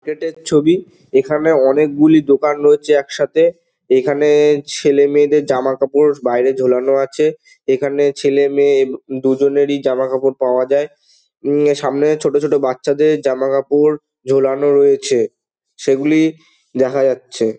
Gate -এর ছবি। এখানে অনেকগুলি দোকান রয়েছে একসাথে। এখানে-এ ছেলেমেয়ে দের জামাকাপড় বাইরে ঝোলানো আছে। এখানে ছেলে মেয়ে দুজনেরই জামাকাপড় পাওয়া যায়। উম সামনে ছোট ছোট বাচাদের জামাকাপড় ঝোলানো রয়েছে। সেই গুলি দেখা যাচ্ছে।